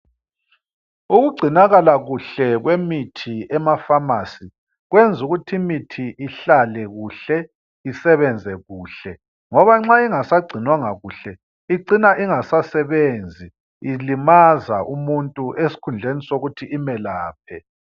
Ukugcinakala kuhle kwemithi emafamasi kwenza ukuthi imithi ihlale kuhle isebenze kuhle ngoba nxa ingasagcinwanga kuhle icina ingasasebenzi ilimaza umuntu esikhundleni sokuthi imelaphe